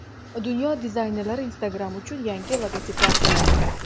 Dunyo dizaynerlari Instagram uchun yangi logotiplar yaratdi .